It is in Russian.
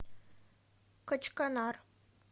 качканар